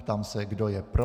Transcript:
Ptám se, kdo je pro.